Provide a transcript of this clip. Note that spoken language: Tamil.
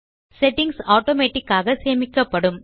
செட்டிங்ஸ் ஆட்டோமேட்டிக் ஆக சேமிக்கப்படும்